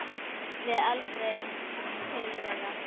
Við aldrei til þeirra.